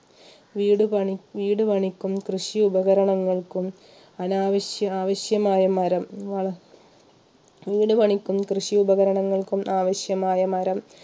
വീടുപണി വീടുപണിക്കും കൃഷി ഉപകരണങ്ങൾക്കും അനാവശ്യ ആവശ്യമായ മരം വള വീട് പണിക്കും കൃഷി ഉപകരണങ്ങൾക്കും ആവശ്യമായ മരം